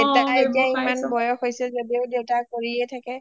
দেউতাৰ এ এতিয়া ইমান বয়স হৈছে যদিও দেউতা কৰিয়ে থাকে